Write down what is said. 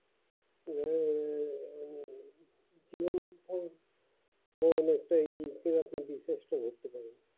ও no